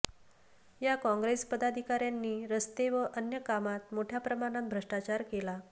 या काँग्रेस पदाधिकाऱयांनी रस्ते व अन्य कामात मोठय़ा प्रमाणात भ्रष्टाचार केला